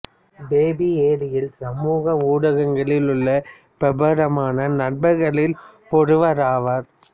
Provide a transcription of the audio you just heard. baby Ariel சமூக ஊடகங்களில் உள்ள பிரபலமான நபர்களில் ஒருவராவார்